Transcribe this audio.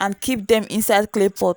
and keep them inside clay pot.